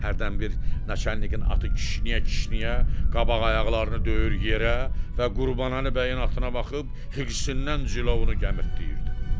Hərdən bir naçalnikin atı kişniyə-kişniyə qabaq ayaqlarını döyür yerə və Qurbanəli bəyin atına baxıb xırsından cilovunu gəmirtləyirdi.